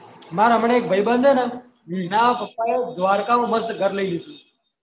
મારા હમણાં એક ભાઈ બંધ હે ને એના પપ્પાએ દ્વારિકા માં મસ્ત ઘર લઇ લીધું